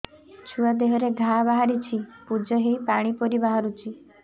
ଛୁଆ ଦେହରେ ଘା ବାହାରିଛି ପୁଜ ହେଇ ପାଣି ପରି ବାହାରୁଚି